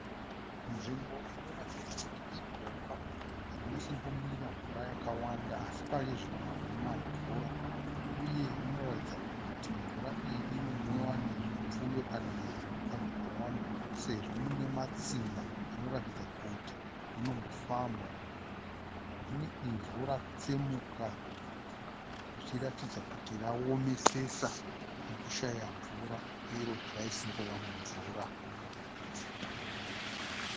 Nzvimbo inoratidza kuti igomba rinosimbomira mvura yakawanda asi pari zvino hamuna mvura. Uye munoratidza kuti mvura iyi inomwiwa nezvipfuyo kana zvipuka zvakawanda sezvo mune matsimba anoratidza kuti munombofambwa. Mune ivhu ratsemuka zvichiratidza kuti raomesesa nekushaya mvura iro raisimbova mumvura.